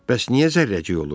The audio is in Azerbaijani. Bəs niyə Zərrəcik olur?